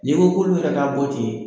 N'i ko k'olu yɛrɛ k'a bɔ ten